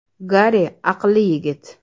“Gari aqlli yigit.